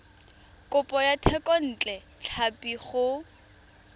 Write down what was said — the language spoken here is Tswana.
kopo ya thekontle tlhapi go